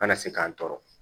An na se k'an tɔɔrɔ